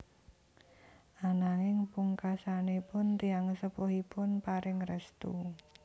Ananging pungkasanipun tiyang sepuhipun paring restu